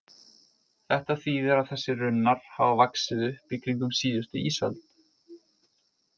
Þetta þýðir að þessir runnar hafa vaxið upp í kringum síðustu ísöld.